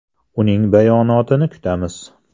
Uning bayonotini kutamiz.